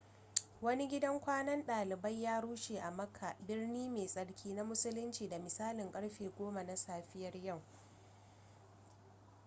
wani gidan kwanan dalibai ya rushe a makka birni mai tsarki na musulinci da misalin karfe 10 na safiyar yau